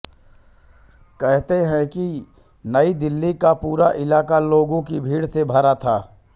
कहते हैं कि नई दिल्ली का पूरा इलाका लोगों की भीड़ से भरा था